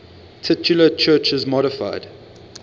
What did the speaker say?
titular churches modified